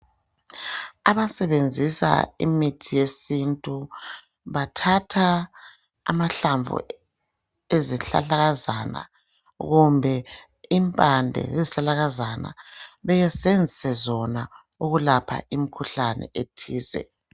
Abasenzisa imithi yesintu, bathatha amahlamvu ezihlahlakazana kumbe impande zezihlahlakazana besenzise zona ukulapha imkhuhlane ethize.